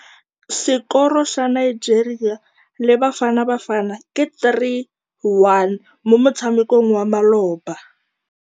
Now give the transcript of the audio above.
Sekôrô sa Nigeria le Bafanabafana ke 3-1 mo motshamekong wa malôba.